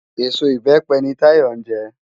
Ésó ibèpè ni Táyo njè